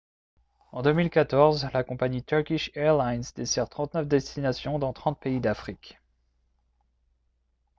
en 2014 la compagnie turkish airlines dessert 39 destinations dans 30 pays d'afrique